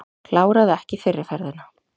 Kláraði ekki fyrri ferðina